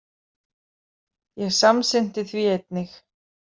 Ég samsinnti því einnig.